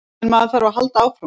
En maður þarf að halda áfram.